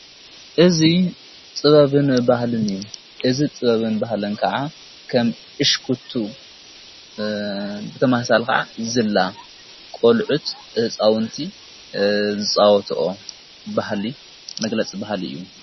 እዙ ጥበብን ባህልን እዩ እዝ ጥበብን ባህልን ከዓ ኸም እሽክቱ ብተማሕሣል ከዓ ዘላ ቖልዑ ት ፃውንቲ ዝወትኦ ብህሊ መግለጽ በሃል እዩ።